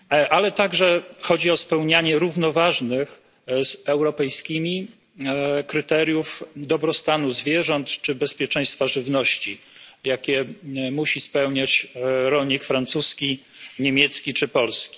Ale także chodzi o spełnianie równoważnych z europejskimi kryteriów dobrostanu zwierząt czy bezpieczeństwa żywności, jakie musi spełniać rolnik francuski, niemiecki czy polski.